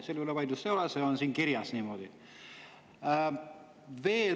Selle üle vaidlust ei ole, siin on niimoodi kirjas.